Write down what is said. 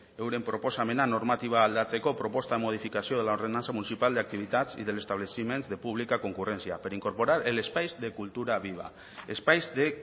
euren proposamena normatiba aldatzeko espais de